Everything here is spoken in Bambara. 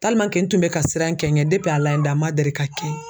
n tun bɛ ka siran n kɛ ɲɛ Ala ye dan n man deli ka kɛ